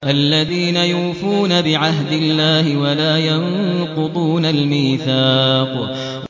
الَّذِينَ يُوفُونَ بِعَهْدِ اللَّهِ وَلَا يَنقُضُونَ الْمِيثَاقَ